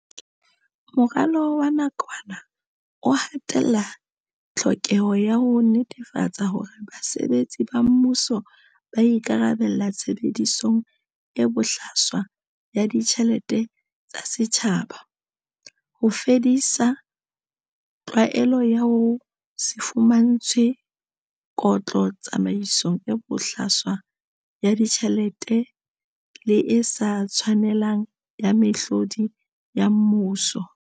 Moralo wa nakwana o ha tella tlhokeho ya ho netefatsa hore basebetsi ba mmuso ba ikarabella tshebedisong e bohlaswa ya ditjhelete tsa setjhaba, ho fedisa tlwaelo ya ho se fumantshwe kotlo tsamaisong e bohlaswa ya ditjhelete le e sa tshwanelang ya mehlodi ya mmuso.